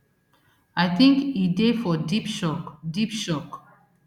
i think e dey for deep shock deep shock